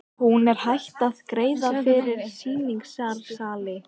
Hún er hætt að greiða fyrir sýningarsali.